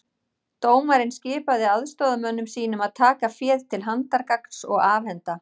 Dómarinn skipaði aðstoðarmönnum sínum að taka féð til handargagns og afhenda